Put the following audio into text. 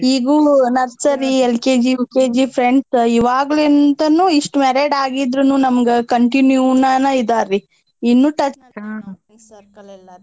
ಈಗೂ nursery LKG, UKG friends ಇವಾಗ್ಲಿಂತಾನೂ ಇಷ್ಟ್ married ಅಗಿದ್ರೂನೂ ನಮ್ಗ್ continue ನ ಇದಾರೀ ಇನ್ನೂ touch ಎಲ್ಲಾರೀ.